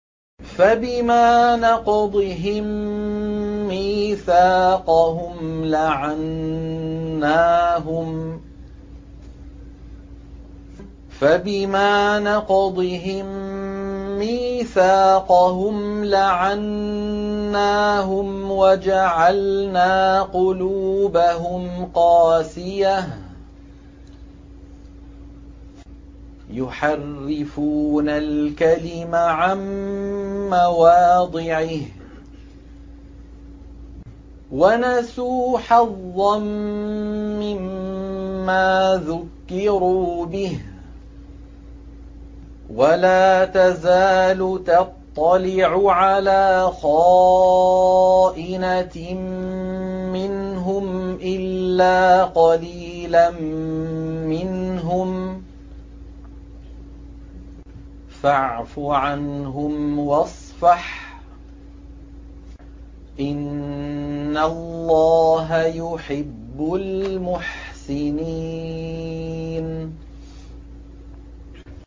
فَبِمَا نَقْضِهِم مِّيثَاقَهُمْ لَعَنَّاهُمْ وَجَعَلْنَا قُلُوبَهُمْ قَاسِيَةً ۖ يُحَرِّفُونَ الْكَلِمَ عَن مَّوَاضِعِهِ ۙ وَنَسُوا حَظًّا مِّمَّا ذُكِّرُوا بِهِ ۚ وَلَا تَزَالُ تَطَّلِعُ عَلَىٰ خَائِنَةٍ مِّنْهُمْ إِلَّا قَلِيلًا مِّنْهُمْ ۖ فَاعْفُ عَنْهُمْ وَاصْفَحْ ۚ إِنَّ اللَّهَ يُحِبُّ الْمُحْسِنِينَ